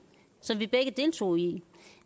som vi begge deltog i